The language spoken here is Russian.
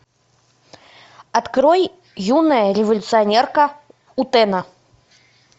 открой юная революционерка утэна